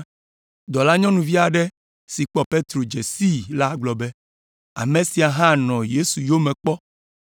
Dɔlanyɔnuvi aɖe si kpɔ Petro dze sii la gblɔ be, “Ame sia hã nɔ Yesu yome kpɔ.”